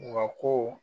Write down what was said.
Wa ko